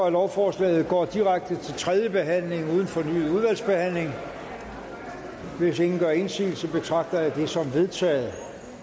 at lovforslaget går direkte til tredje behandling uden fornyet udvalgsbehandling hvis ingen gør indsigelse betragter jeg det som vedtaget